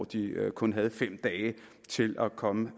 de havde kun fem dage til at komme